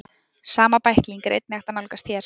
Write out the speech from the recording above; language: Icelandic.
Sama bækling er einnig hægt að nálgast hér.